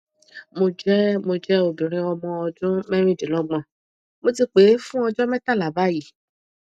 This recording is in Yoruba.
mo jẹ mo jẹ obìnrin ọmọ ọdún merindinlogbon mo ti pẹ fún ọjọ metala báyìí